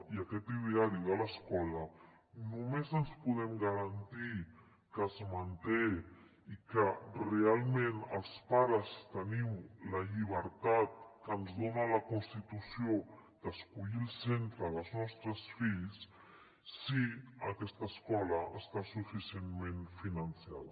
i aquest ideari de l’escola només podem garantir que es manté i que realment els pares tenim la llibertat que ens dona la constitució d’escollir el centre dels nostres fills si aquesta escola està suficientment finançada